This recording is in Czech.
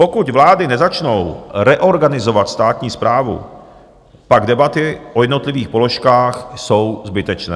Pokud vlády nezačnou reorganizovat státní správu, pak debaty o jednotlivých položkách jsou zbytečné.